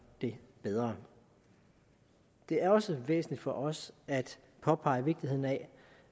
det bedre det er også væsentligt for os at påpege vigtigheden af